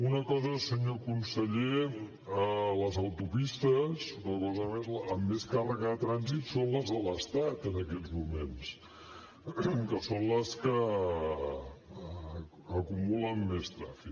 una cosa més senyor conseller les autopistes amb més càrrega de trànsit són les de l’estat en aquests moments que són les que acumulen més trànsit